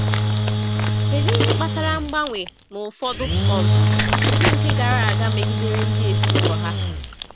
Kedu ihe kpatara mgbanwe na ụfọdụ um ndị nke gara aga megidere ndị ezinụlọ ha?